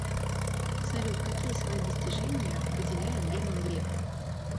салют какие свои достижения выделяет герман греф